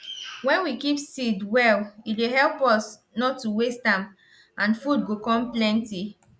wen we keep seed well e dey help us nor to waste am and food go com plenty